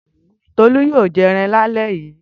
Tolú yóò jẹ ẹran lálẹ́ yìí.